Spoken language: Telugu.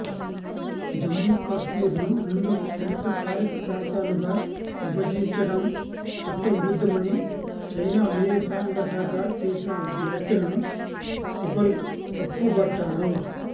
జమ్మూ కశ్మీర్ ను రెండు కేంద్రపాలిత ప్రాంతాలుగా విభజించడం చట్టవిరుద్ధమని చైనా విదేశాంగశాఖ చేసిన వ్యాఖ్యలను సిబల్ తప్పుబట్టారు